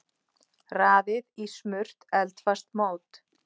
Raðið í smurt eldfast mót.